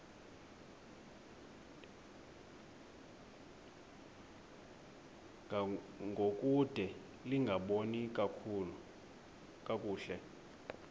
ngangokude lingaboni kakuhle